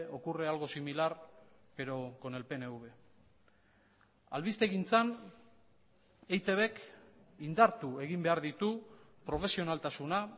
ocurre algo similar pero con el pnv albistegintzan eitbk indartu egin behar ditu profesionaltasuna